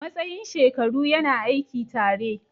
Matsayin shekaru yana aiki tare.